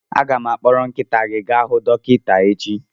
Aga m akpọrọ nkịta gị gaa hu dọkịta echi